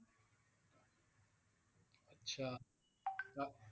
আচ্ছা।